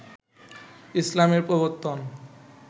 ইসলামের প্রবর্তন